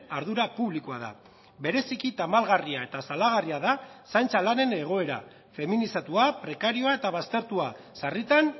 ardura publikoa da bereziki tamalgarria eta salagarria da zaintza lanen egoera feminizatua prekarioa eta baztertua sarritan